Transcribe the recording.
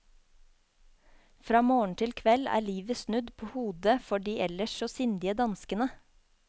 Fra morgen til kveld er livet snudd på hodet for de ellers så sindige danskene.